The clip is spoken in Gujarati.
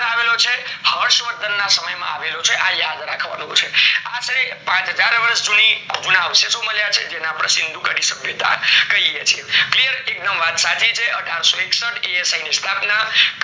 હર્ષવર્ધન ના સમય માં આવેલો છે આ યાદ રાખવાનું છે, આ અઢાર વર્ષ જૂની છે શું મળ્યા છે જેને અપણે સીન્ધુગાડી સભ્યતા કહીએ છીએ clear એક દમ વાત સાચી છે અઢારસોએકસઠ asi ની સ્થાપના